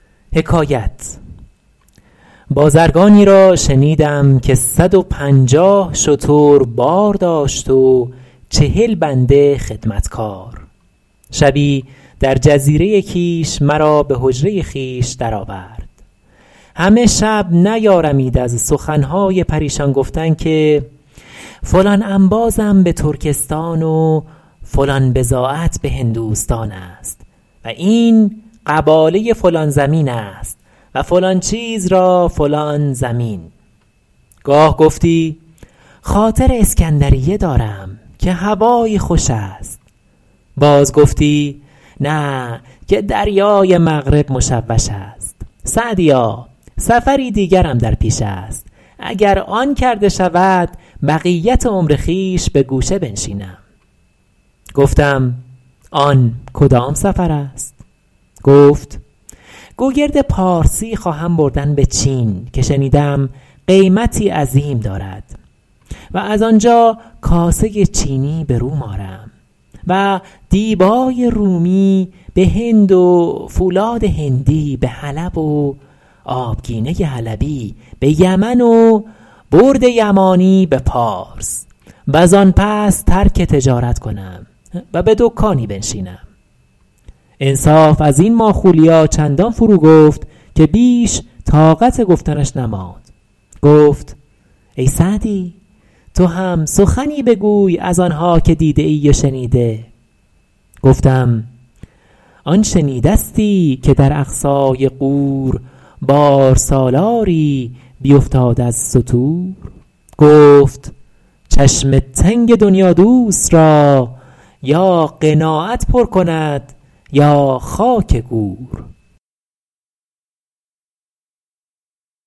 بازرگانی را شنیدم که صد و پنجاه شتر بار داشت و چهل بنده خدمتکار شبی در جزیره کیش مرا به حجره خویش در آورد همه شب نیارمید از سخن های پریشان گفتن که فلان انبازم به ترکستان و فلان بضاعت به هندوستان است و این قباله فلان زمین است و فلان چیز را فلان ضمین گاه گفتی خاطر اسکندریه دارم که هوایی خوش است باز گفتی نه که دریای مغرب مشوش است سعدیا سفری دیگرم در پیش است اگر آن کرده شود بقیت عمر خویش به گوشه بنشینم گفتم آن کدام سفر است گفت گوگرد پارسی خواهم بردن به چین که شنیدم قیمتی عظیم دارد و از آنجا کاسه چینی به روم آرم و دیبای رومی به هند و فولاد هندی به حلب و آبگینه حلبی به یمن و برد یمانی به پارس و زآن پس ترک تجارت کنم و به دکانی بنشینم انصاف از این ماخولیا چندان فرو گفت که بیش طاقت گفتنش نماند گفت ای سعدی تو هم سخنی بگوی از آن ها که دیده ای و شنیده گفتم آن شنیدستی که در اقصای غور بارسالاری بیفتاد از ستور گفت چشم تنگ دنیادوست را یا قناعت پر کند یا خاک گور